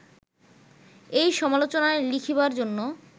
এই সমালোচনা লিখিবার জন্য